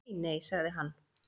Nei nei, sagði hann.